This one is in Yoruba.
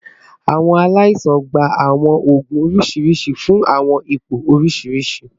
Awọn alaisan gba awọn oogun oriṣiriṣi fun awọn ipo oriṣiriṣi